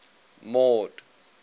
mord